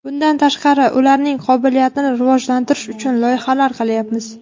Bundan tashqari, ularning qobiliyatini rivojlantirish uchun loyihalar qilyapmiz.